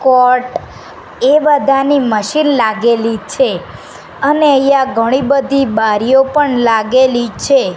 કોટ એ બધાની મશીન લાગેલી છે અને અહિયા ઘણી બધી બારીઓ પણ લાગેલી છે.